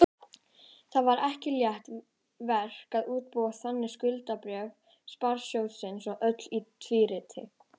Það var ekki létt verk að útbúa þannig skuldabréf sparisjóðsins og öll í tvíriti.